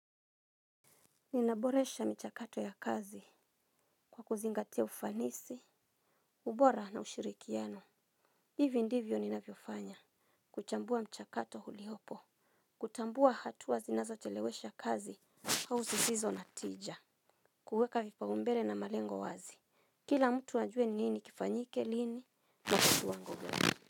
Ninaboresha mchakato ya kazi kwa kuzingatia ufanisi, ubora na ushirikiano. Hivi ndivyo ninavyofanya. Kuchambua mchakato uliopo kutambua hatuwa zinazo chelewesha kazi hau zi zizo natija. Kuweka vipa umbele na malengo wazi. Kila mtu ajue nini kifanyike lini na kiwango gani.